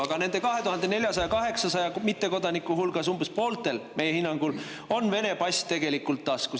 Aga nendest 24 800 mittekodanikust on umbes pooltel, meie hinnangul, tegelikult taskus Vene pass.